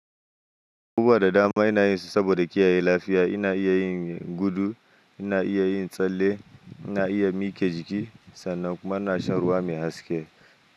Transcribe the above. Abubuwa da dama ina yin su saboda kiyaye lafiya. Ina iya yin gudu, ina iya yin tsalle, ina iya mike jiki sannan kuma ina shan ruwa mai haske.